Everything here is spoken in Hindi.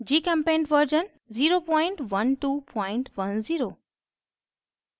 gchempaint version 01210